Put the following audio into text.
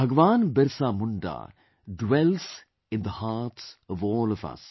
Bhagwan Birsa Munda dwells in the hearts of all of us